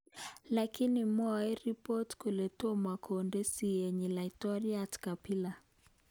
Lakini mwoe ribot kole tomo konde siyenyi laitoryat Kabila